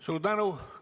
Suur tänu!